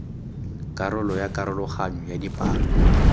karolo ya karologanyo ya dipalo